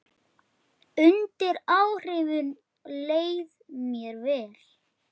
Ha, veistu það ekki?